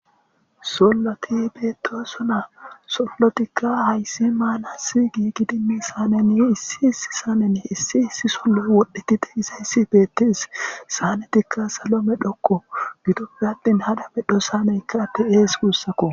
solloti beedoosuna sollotikka hayssi maanasi gi gidimi saaneni issi issi saanen issi issi sollo wodhdhetite isa issi beettees saanetikka salomedhokko gidopfe attin hadamedho saaneykka atte ees guussakko